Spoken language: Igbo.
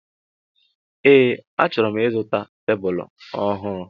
Ee achoro m ịzụta tebụl ọhụụ.